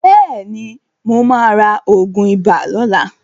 Bẹ́ẹ̀ ni, mó máa ra oògùn ibà lóla.